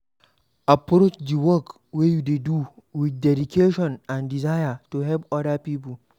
Approach di work wey you dey do with dedication and desire to help oda pipo